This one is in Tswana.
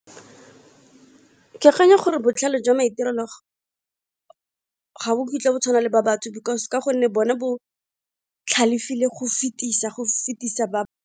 Ke akanya gore botlhale jwa maitirelo ga bo kitla bo tshwana le ba batho because ka gonne bone bo galefile go fetisa ba.